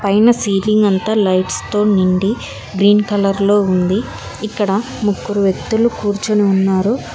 పైన సీలింగ్ అంతా లైట్స్ తో నిండి గ్రీన్ కలర్ లో ఉంది ఇక్కడ ముగ్గురు వ్యక్తులు కూర్చుని ఉన్నారు.